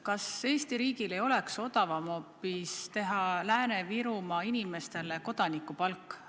Kas Eesti riigil ei oleks hoopis odavam teha Lääne-Virumaa inimestele kodanikupalk?